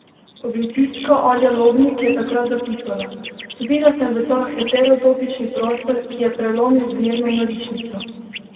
Publicistka Alja Lobnik je takrat zapisala: "Vstopila sem v ta heterotopični prostor, ki je prelomil z dnevno norišnico.